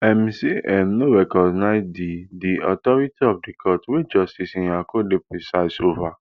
im say im no recognise di di authority of di court wey justice nyako dey preside ova